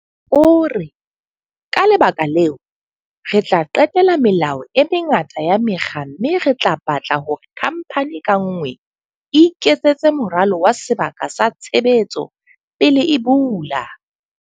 O re. Ka lebaka leo, re tla qetela melao e mengata ya mekga mme re tla batla hore khamphani ka nngwe e iketsetse moralo wa sebaka sa tshebetso pele e bula.